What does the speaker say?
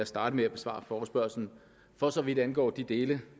starte med at besvare forespørgslen for så vidt angår de dele